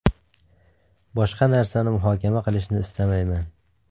Boshqa narsani muhokama qilishni istamayman.